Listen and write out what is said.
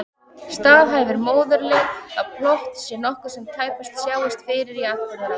Staðhæfir móðurleg að plott sé nokkuð sem tæpast sjáist fyrir í atburðarás.